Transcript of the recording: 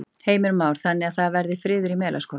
Heimir Már: Þannig að það verði friður í Melaskóla?